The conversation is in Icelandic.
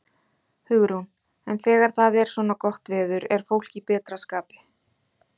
Hugrún: En þegar það er svona gott veður, er fólk í betra skapi?